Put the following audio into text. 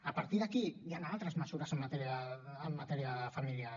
a partir d’aquí hi han altres mesures en matèria familiar